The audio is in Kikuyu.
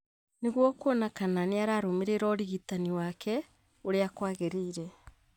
nĩguo kuona kana nĩ ararũmĩrĩra ũrigitani wake ũrĩa kwgĩrĩire,